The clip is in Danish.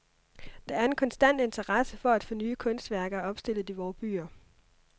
Der er en konstant interesse for at få nye kunstværker opstillet i vore byer.